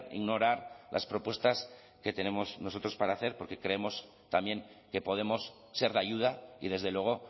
ignorar las propuestas que tenemos nosotros para hacer porque creemos también que podemos ser de ayuda y desde luego